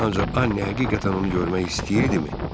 Ancaq Anne həqiqətən onu görmək istəyirdimi?